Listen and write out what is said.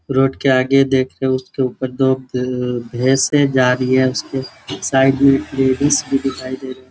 Road के आगे देख रहे है उसके ऊपर दो तीन भैस है जा रही है उसके साइड में लेडीज भी दिखाई दे रही है।